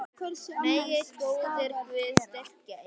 Megi góður Guð styrkja ykkur.